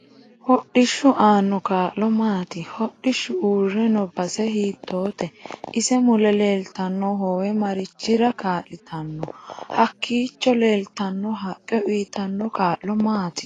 Hodhishu aano kaa'lo maati hodhishu uure noo base hiitoote isi mule leeltanno hoowe marichira kaal'itanno hakiicho leeltanno haqqe uyiitanno kaa'lo maati